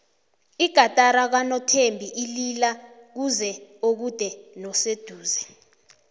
igatari kanothembi ilila kuzwe okude noseduze